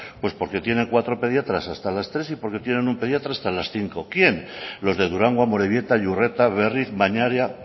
pues porque tiene cuatro pediatras hasta las tres y porque tienen un pediatra hasta las cinco quién los de durango amorebieta iurreta berriz mañaria